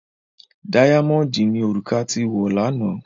Dáyámọ̀ọ̀dì ni òrùka tí wọ̀ lánàá.